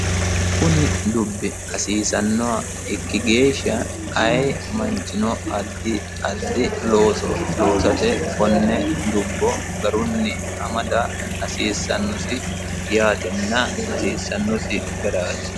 kuni dubbi hasiiannoha ikki geeshsha ayii manchino addi addi looso loosate konne dubbo garunni amada hasissannosi yaate hasissannosi garaati